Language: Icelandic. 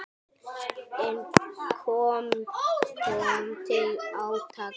En ekki kom til átaka.